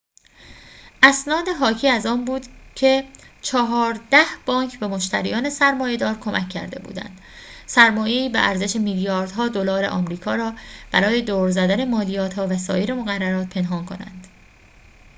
اسناد حاکی از آن بود که چهارده بانک به مشتریان سرمایه‌دار کمک کرده بودند سرمایه‌ای به ارزش میلیاردها دلار آمریکا را برای دور زدن مالیات‌ها و سایر مقررات پنهان کنند